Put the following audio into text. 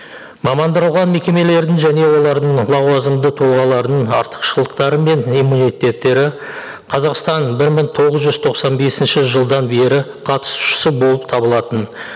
мекемелердің және олардың лауазымды тұлғалардың артықшылықтары мен иммунитеттері қазақстан бір мың тоғыз жүз тоқсан бесінші жылдан бері қатусышы болып табылатын